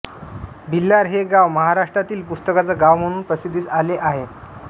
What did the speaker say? भिलार हे गाव महाराष्ट्रातील पुस्तकांचं गाव म्हणून प्रसिद्धीस आले आहे